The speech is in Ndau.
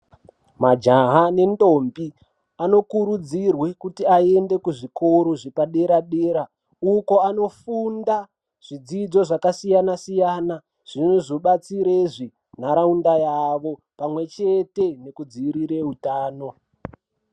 Majaha nentombi anokurudzirwe kuti aende kuzvikoro zvepadera dera uko anofunda zvidzidzo zvakasiyana siyana zvinozobatsirezve nharaunda yavo pamwechete nekudzivirire utano.